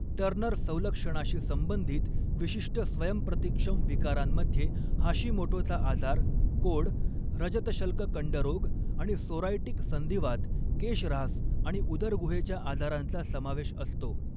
Turner संलक्षणाशी संबंधित विशिष्ट स्वयंप्रतिक्षम विकारांमध्ये हाशिमोटोचा आजार, कोड, रजतशल्ककंडरोग आणि सोरायटिक संधिवात, केशऱ्हास आणि उदरगुहेच्या आजारांचा समावेश असतो.